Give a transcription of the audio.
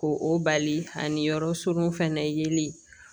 Ko o bali ani yɔrɔ surun fana yeli